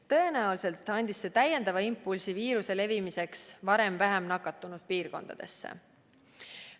Tõenäoliselt andis see täiendava impulsi viiruse levimiseks varem vähem nakatunud piirkondadesse.